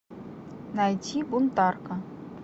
найти бунтарка